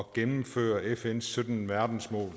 gennemføre fns sytten verdensmål